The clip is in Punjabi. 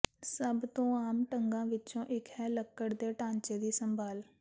ਸਭ ਤੋਂ ਆਮ ਢੰਗਾਂ ਵਿਚੋਂ ਇਕ ਹੈ ਲੱਕੜ ਦੇ ਢਾਂਚੇ ਦੀ ਸੰਭਾਲ